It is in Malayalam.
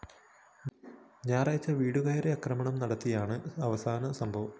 വ്യാഴാഴ്ച വീടുകയറി ആക്രമണം നടത്തിയതാണ് അവസാന സംഭവം